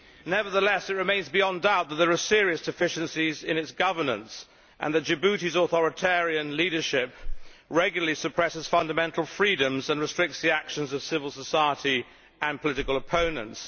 Nevertheless, it remains beyond doubt that there are serious deficiencies in its governance and that Djibouti's authoritarian leadership regularly suppresses fundamental freedoms and restricts the actions of civil society and political opponents.